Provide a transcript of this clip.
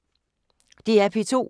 DR P2